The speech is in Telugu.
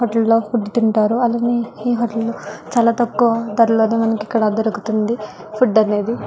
హోటల్ లో ఫుడ్ తింటారు అలానే ఈ హోటల్ లో చాల తక్కువ ధరలోనే మనకి ఇక్కడ దొరుకుతుంది ఫుడ్ అనేది.